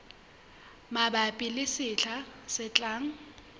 mabapi le sehla se tlang